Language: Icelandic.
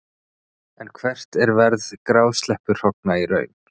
En hvert er verð grásleppuhrogna í raun?